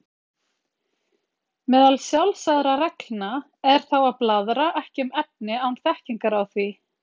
Meðal sjálfsagðra reglna er þá að blaðra ekki um efni án þekkingar á því.